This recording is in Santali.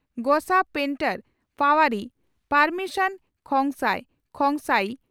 ᱜᱚᱥᱟ ᱯᱮᱱᱴᱚᱨ (ᱯᱟᱣᱟᱨᱤ) ᱯᱟᱣᱢᱤᱱᱥᱚᱱ ᱠᱷᱚᱝᱥᱟᱭ (ᱠᱷᱚᱝᱥᱟᱭᱤ)